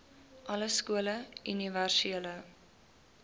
alle skole universele